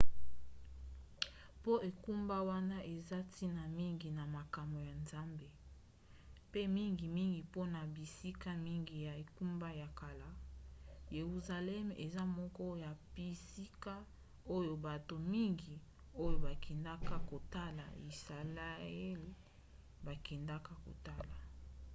mpo engumba wana eza na ntina mingi na makambo ya nzambe mpe mingimingi mpona bisika mingi ya engumba ya kala yeruzaleme eza moko ya bisika oyo bato mingi oyo bakendaka kotala yisalaele bakendaka kotala